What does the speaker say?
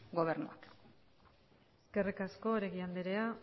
gobernuak eskerrik asko oregi andrea